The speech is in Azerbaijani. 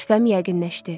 Şübhəm yəqinləşdi.